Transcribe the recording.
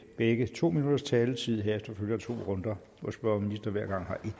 begge to minutters taletid og herefter følger to runder hvor spørger og minister hver gang